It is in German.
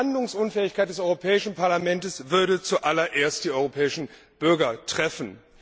Die Handlungsunfähigkeit des Europäischen Parlaments würde zuallererst die europäischen Bürger treffen.